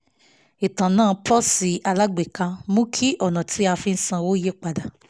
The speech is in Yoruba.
ìtànà pọ́ọ̀sì alágbèéká mú kí ọ̀nà tí a fi ń sanwó yípadà